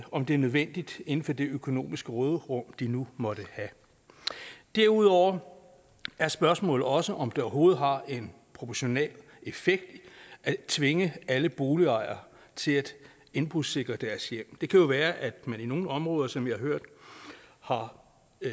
om det er nødvendigt inden for det økonomiske råderum de nu måtte have derudover er spørgsmålet også om det overhovedet har en proportionel effekt at tvinge alle boligejere til at indbrudssikre deres hjem det kan jo være at man i nogle områder som vi har hørt har